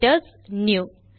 visit ours new